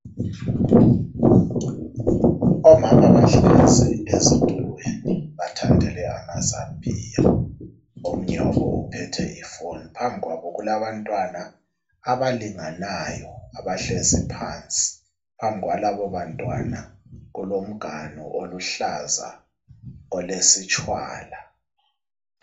Omama bahlezi ezithulweni bethandele amazambiya. Omunye wabo uphethe ifoni. Phambi kwabo kulabantwana abalinganayo abahlezi phansi. Phambi kwalabo bantwana kulomganu oluhlaza olesitshwala.